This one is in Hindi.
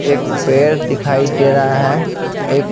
एक पैर दिखाई दे रहा है एक--